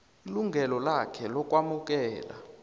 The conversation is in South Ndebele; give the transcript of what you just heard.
ilungelo lakhe lokwamukela